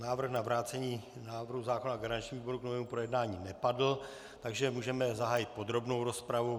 Návrh na vrácení návrhu zákona garančnímu výboru k novému projednání nepadl, takže můžeme zahájit podrobnou rozpravu.